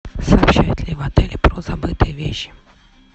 сообщают ли в отеле про забытые вещи